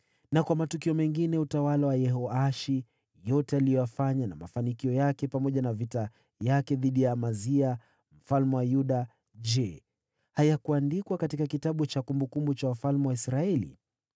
Na kwa matukio mengine ya utawala wa Yehoashi, yote aliyoyafanya na mafanikio yake, pamoja na vita yake dhidi ya Amazia mfalme wa Yuda, je, hayakuandikwa katika kitabu cha kumbukumbu za wafalme wa Israeli?